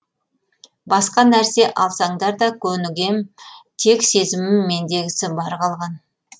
басқа нәрсе алсаңдар да көнігем тек сезімім мендегісі бар қалған